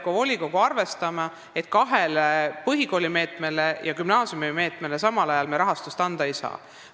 Ka volikogu peab arvestama, et kahe meetme, põhikoolimeetme ja gümnaasiumimeetme raames me samal ajal rahastust anda ei saa.